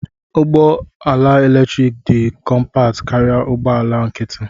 Ụgbọ ala eletrik dị kọmpat karịa ụgbọ ala nkịtị.